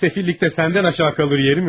Səfillikdə səndən geri qalan yerim yoxdur.